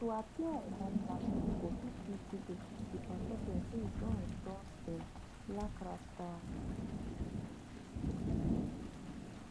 tu appear on one platform go sti give pipo di say you don endorse blakk